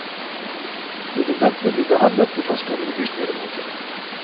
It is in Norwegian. Dette vil ventelig bli behandlet i førstkommende bystyremøte.